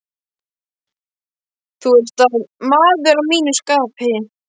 Þú ert maður að mínu skapi.